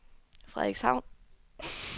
Frederikshavn